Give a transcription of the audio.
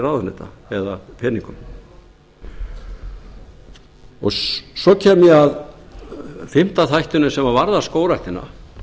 ráðuneyta eða peningum svo kem ég að fimmta þættinum sem varðar skógræktina